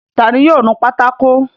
Ta ni yóò nu pátákó?